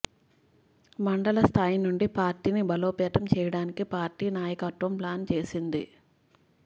మండల స్థాయి నుండి పార్టీని బలోపేతం చేయడానికి పార్టీ నాయకత్వం ప్లాన్ చేసింది